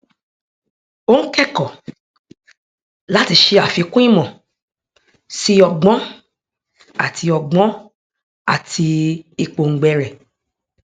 ó ń kẹkọọ láti ṣe àfikún ìmọ sí ọgbọn àti ọgbọn àti ìpòǹgbẹ rẹ